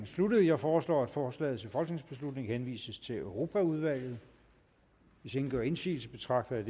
sluttet jeg foreslår at forslaget til folketingsbeslutning henvises til europaudvalget hvis ingen gør indsigelse betragter jeg